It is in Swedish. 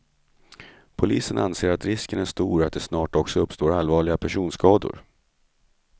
Polisen anser att risken är stor att det snart också uppstår allvarliga personskador.